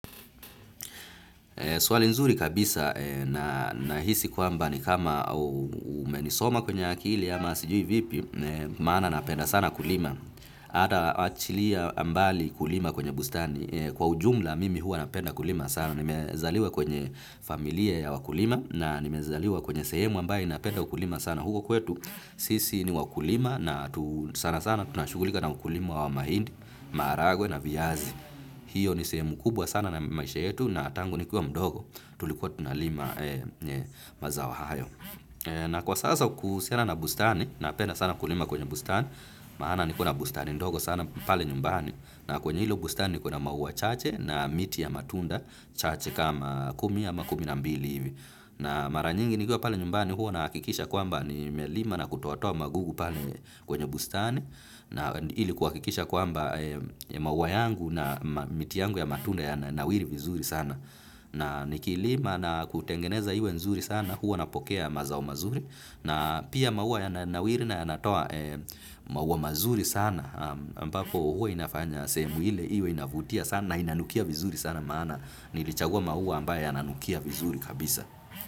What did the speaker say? Swali nzuri kabisa nahisi kwamba ni kama umenisoma kwenye akili ama sijui vipi, maana napenda sana kulima. Ata achilia mbali kulima kwenye bustani. Kwa ujumla mimi huwa napenda kulima sana. Nimezaliwa kwenye familia ya wakulima na nimezaliwa kwenye sehemu ambaye inapenda ukulima sana. Huko kwetu sisi ni wakulima na sana sana tunashughulika na ukulima wa mahindi, maharagwe na viazi. Hiyo ni sehemu kubwa sana na maisha yetu na tangu nikuwa mdogo tulikuwa tunalima mazao hayo. Na kwa sasa kuhusiana na bustani napenda sana kulima kwenye bustani, maana niko na bustani ndogo sana pale nyumbani. Na kwenye hilo bustani niko na maua chache na miti ya matunda, chache kama kumi ama kumi na mbili hivi. Na mara nyingi nikiwa pale nyumbani huwa nahakikisha kwamba nimelima na kutoatoa magugu pale kwenye bustani. Na ili kuhakikisha kwamba maua yangu na miti yangu ya matunda yananawiri vizuri sana. Na nikilima na kutengeneza iwe nzuri sana, huwa napokea mazao mazuri, na pia maua yananawiri na yanatoa maua mazuri sana, ambapo huwa inafanya sehemu ile, iwe inavutia sana, inanukia vizuri sana maana, nilichagua maua ambaye yananukia vizuri kabisa.